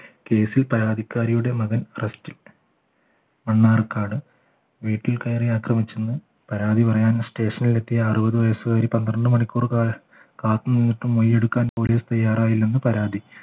കേസിൽ പരാതിക്കാരിയുടെ മകൻ arrest ൽ മണ്ണാർക്കാട് വീട്ടിൽ കയറി ആക്രമിച്ചന്ന് പരാതി പറയാൻ സ്റ്റേഷനിൽ എത്തിയ അറുപത് വയസ്സുകാരി പന്ത്രണ്ട് മണിക്കൂർ കാത്തുനിന്നിട്ടും മൊഴിയെടുക്കാൻ police തയ്യാറായില്ലെന്ന് പരാതി